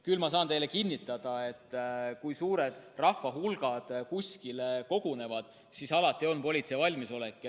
Küll saan ma teile kinnitada, et kui suured rahvahulgad kuskile kogunevad, siis alati on politseil valmisolek.